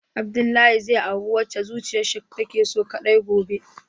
Abdullahi zai auri wadda zuciyarshi take so kadai gobe.